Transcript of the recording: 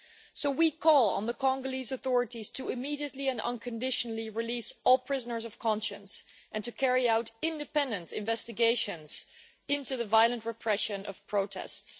So we call on the Congolese authorities to immediately and unconditionally release all prisoners of conscience, and to carry out independent investigations into the violent repression of protests.